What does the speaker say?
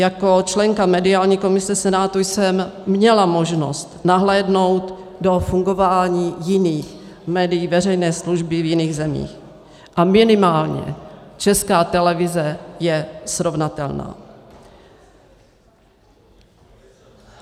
Jako členka mediální komise Senátu jsem měla možnost nahlédnout do fungování jiných médií veřejné služby v jiných zemích a minimálně Česká televize je srovnatelná.